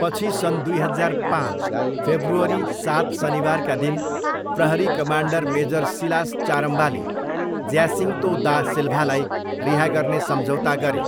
पछि सन् दुई हजार पाँच, फेब्रुअरी सात, शनिबारका दिन प्रहरी कमान्डर मेजर सिलास चारम्बाले ज्यासिङ्तो दा सिल्भालाई रिहा गर्ने सम्झौता गरे।